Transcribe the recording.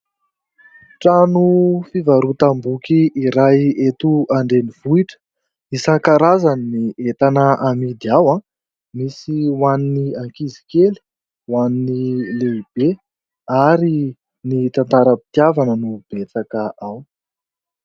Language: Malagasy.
Trano fivarotam-boky iray eto an-drenivohitra: isan-karazany ny entana amidy ao an, misy ho an' ny ankizy kely, ho an' ny lehibe ary ny tantaram-pitiavana no betsaka ao.